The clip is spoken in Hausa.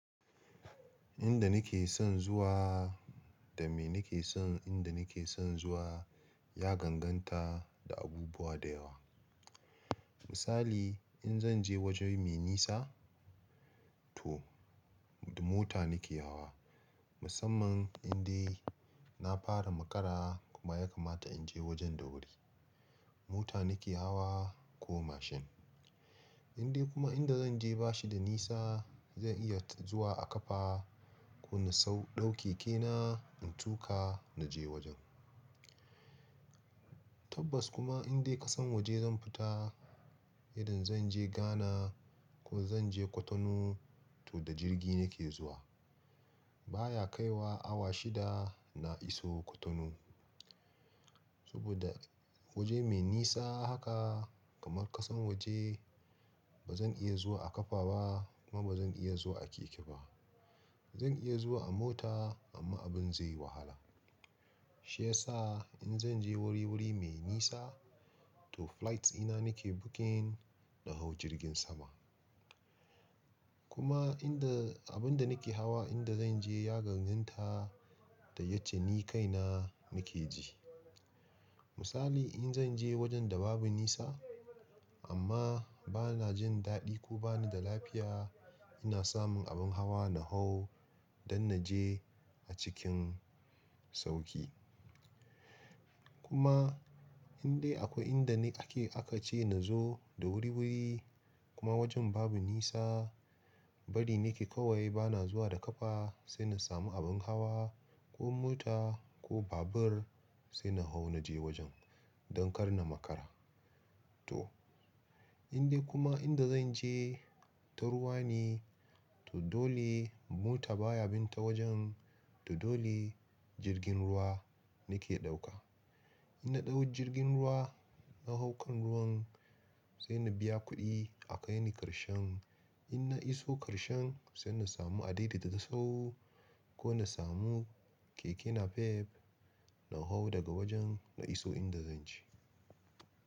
Inda nake son zuwa da me nake son inda nake son zuwa ya ganganta da abubuwa da yawa. Misali in zan je waje me nisa to da mota nake hawa. Musamman indai na fara makara kuma ya kamata in je wajen da wuri. Mota nake hawa ko mashin. Indai kuma inda zan je ba shi da nisa zan iya zuwa a ƙafa ko in sau ɗauke keke na in tuka na je wajen. Tabbas kuma indai ƙasan waje zan fita idan zan je Ghana ko zan je Cotonou to da jirgi nake zuwa. Baya kaiwa awa shida na iso Cotonou. Saboda waje me nisa haka kamar ƙasan waje ba zan iya zuwa a ƙafa ba kuma ba zan iya zuwa a keke ba. Zan iya zuwa a mota amma abin zai yi wahala. Shi yasa in zan je wuri-wuri me nisa to flights ina nake booking na hau jirgin sama. Kuma inda abin da nake hawa inda zan je ya ganganta da yace ni kaina nake ji. Misali in zan je wajen da babu nisa amma bana jin daɗi ko bani da lafiya ina samun abin hawa na hau don na je a cikin sauƙi. Kuma indai akwai inda ni ake aka ce na zo da wuri-wuri kuma wajen babu nisa bari nake kawai bana zuwa da ƙafa sai na samu abin hawa ko mota ko babur sai na hau na je wajen don kar na makara. To indai kuma inda zan je ta ruwa ne to dole mota baya bin ta wajen to dole jirgin ruwa nake ɗauka. In na ɗau jirgin ruwa na hau kan ruwan sai na biya kuɗi akaini ƙarshen in na iso ƙarshen sai na samu adadi da ta sau ko na samu keke na pep na hau daga wajen na iso inda zan je.